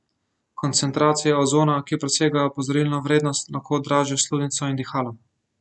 Koncentracije ozona, ki presegajo opozorilno vrednost, lahko dražijo sluznico in dihala.